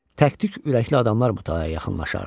Tək-tək ürəkli adamlar o talaya yaxınlaşardı.